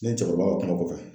Ne ni cɛkɔrɔba ka kuma kɔfɛ